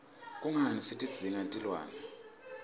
kungani sitidzinga tilwne